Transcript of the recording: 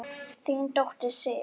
Þín dóttir, Sif.